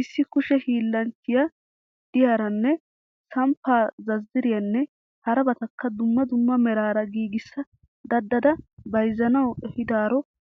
Issi kushe hiillanchchiya diyaaran samppaa zazzariyanne harabatakka dumma dumma meraara giigissa dadada bayizzanawu ehiidaaro